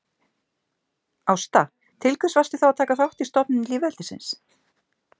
Ásta: Til hvers varstu þá að taka þátt í stofnun lýðveldisins